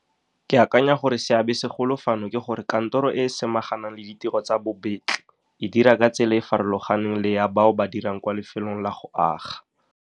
Ke akanya gore seabesegolo fano ke gore kantoro e e samaganang le ditiro tsa bobetli e dira ka tsela e e farologaneng le ya bao ba dirang kwa lefelong la go aga.